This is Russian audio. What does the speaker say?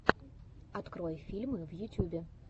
открой фильмы в ютюбе